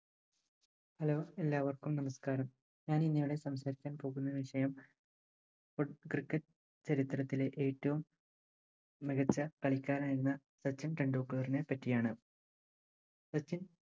hello എല്ലാവർക്കും നമസ്ക്കാരം ഞാനിന്നിവിടെ സംസാരിക്കാൻ പോകുന്ന വിഷയം Cricket ചരിത്രത്തിലെ ഏറ്റവും മികച്ച കളിക്കാരൻ എന്ന സച്ചിൻ ടെണ്ടുൽക്കറിനെ പറ്റിയാണ് സച്ചിൻ